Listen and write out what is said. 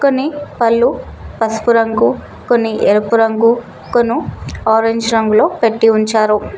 కొన్ని పళ్ళు పసుపు రంగు కొన్ని ఎరుపు రంగు కొను ఆరెంజ్ రంగులో పెట్టి ఉంచారు.